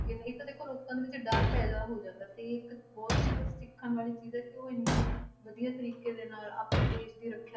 ਇੱਥੇ ਦੇਖੋ ਲੋਕਾਂ ਦੇ ਵਿੱਚ ਡਰ ਪੈਦਾ ਹੋ ਜਾਂਦਾ ਤੇ ਇੱਕ ਬਹੁਤ ਮਤਲਬ ਸਿੱਖਣ ਵਾਲੀ ਚੀਜ਼ ਹੈ ਕਿ ਉਹ ਇੰਨੇ ਵਧੀਆ ਤਰੀਕੇ ਦੇ ਨਾਲ ਆਪਣੇ ਦੇਸ ਦੀ ਰੱਖਿਆ,